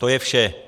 To je vše.